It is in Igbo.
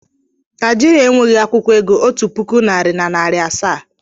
Naijiria enweghị akwụkwọ ego otu puku naịra na narị asaa.